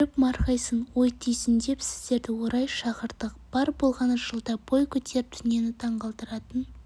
көріп марқайсын ой түйсін деп сіздерді орай шақырдық бар болғаны жылда бой көтеріп дүниені таңғалдыратын